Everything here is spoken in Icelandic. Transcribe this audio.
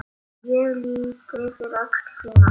Ég lýt yfir öxl þína.